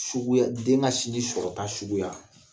Suguya den ka sinji sɔrɔta suguya